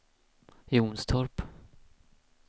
Jonstorp